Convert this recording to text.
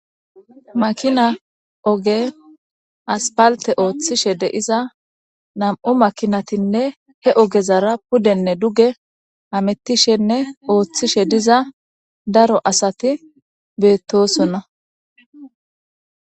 Makina oge aspalte ooththishe de7iza nam7u makinatinne he ogezara pudenne duge hamettishenne ooththishe diza daro asati beettosonna.